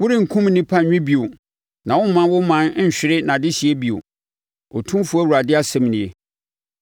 worenkum nnipa nwe bio na woremma wo ɔman nhwere nʼadehyeɛ bio, Otumfoɔ Awurade asɛm nie.